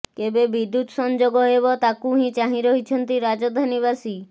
କେବେ ବିଦ୍ୟୁତ ସଂଯୋଗ ହେବ ତାକୁ ହିଁ ଚାହିଁ ରହିଛନ୍ତି ରାଜଧାନୀବାସୀ